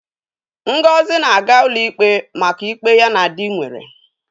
Ngozi na-aga ụlọ ikpe maka ịkpe ya na dị nwere.